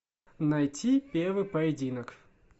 найти первый поединок